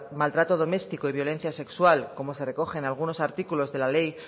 maltrato doméstico y violencia sexual como se recoge en algunos artículos de la ley